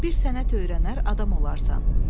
Bir sənət öyrənər adam olarsan.